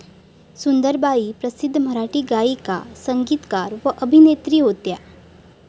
सुंदराबाई प्रसिध्द मराठी गायिका, संगीतकार व अभिनत्री होत्या.